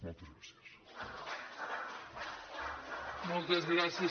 moltes gràcies